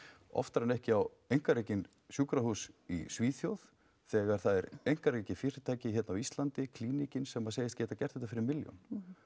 oftar en ekki á einkarekinn sjúkrahús í Svíþjóð þegar það er einkarekið fyrirtæki hér á Íslandi Klíníkin sem segist geta gert þetta fyrir milljón